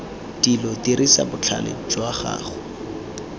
dilo dirisa botlhale jwa gago